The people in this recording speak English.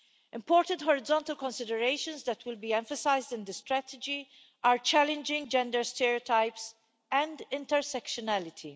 Important horizontal considerations that will be emphasised in the strategy are challenging gender stereotypes and intersectionality.